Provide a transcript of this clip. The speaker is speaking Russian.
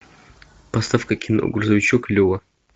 поставь ка кино грузовичок лева